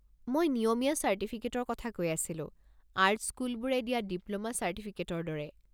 মই নিয়মীয়া চাৰ্টিফিকেটৰ কথা কৈ আছিলো, আৰ্ট স্কুলবোৰে দিয়া ডিপ্ল'মা চাৰ্টিফিকেটৰ দৰে।